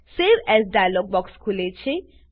save as dialog box ખુલે છે